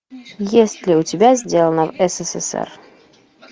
есть ли у тебя сделано в ссср